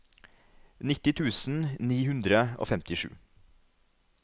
nitti tusen ni hundre og femtisju